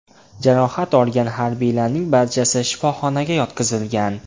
Jarohat olgan harbiylarning barchasi shifoxonaga yotqizilgan.